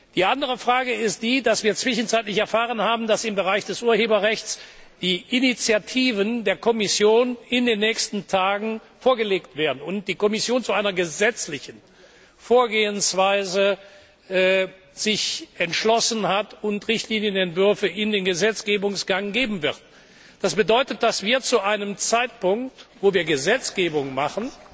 Die andere Frage ist die, dass wir zwischenzeitlich erfahren haben, dass im Bereich des Urheberrechts die Initiativen der Kommission in den nächsten Tagen vorgelegt werden und dass sich die Kommission zu einer gesetzlichen Vorgehensweise entschlossen hat und Richtlinienentwürfe in den Gesetzgebungsgang geben wird. Das bedeutet, dass wir zu einem Zeitpunkt, wo wir Gesetzgebung machen,